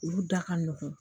Olu da ka nɔgɔn